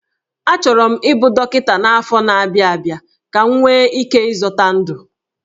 Achọrọ m ịbụ dọkịta n'afọ na-abịa abịa ka m nwee ike ịzọta ndụ